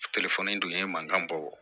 dun ye mankan bɔ